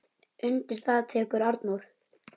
Undir það tekur Arnór.